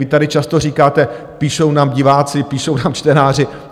Vy tady často říkáte: Píšou nám diváci, píšou nám čtenáři.